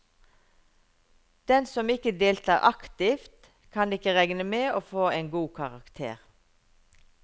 Den som ikke deltar aktivt, kan ikke regne med å få en god karakter.